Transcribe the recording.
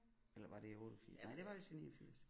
Eller var det i 88 næ det var vist i 89